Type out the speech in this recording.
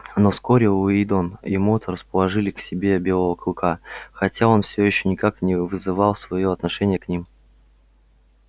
но вскоре уидон и мод расположили к себе белого клыка хотя он всё ещё никак не вызывал своё отношения к ним